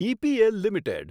EPL limited